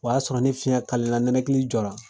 O y'a sɔrɔ ne fiɲɛ la nɛnɛkili jɔra.